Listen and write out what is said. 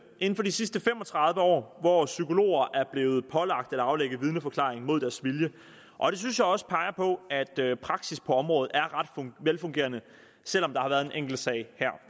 inden for de sidste fem og tredive år hvor psykologer er blevet pålagt at aflægge vidneforklaring mod deres vilje og det synes jeg også peger på at at praksis på området er ret velfungerende selv om der har været en enkelt sag her